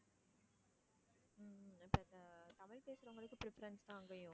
உம் இப்போ இந்த தமிழ் பேசுறவங்களுக்கு preference தான் அங்கேயும்.